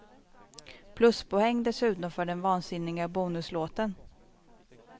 Pluspoäng dessutom för den vansinniga bonuslåten.